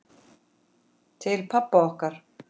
Til pabba okkar.